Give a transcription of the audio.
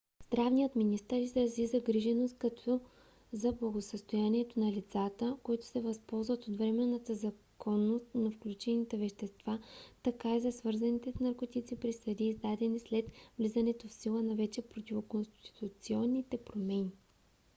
здравният министър изрази загриженост както за благосъстоянието на лицата които се възползват от временната законност на включените вещества така и за свързаните с наркотиците присъди издадени след влизането в сила на вече противоконституционните промени